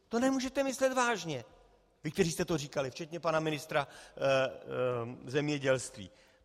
To nemůžete myslet vážně, vy, kteří jste to říkali, včetně pana ministra zemědělství.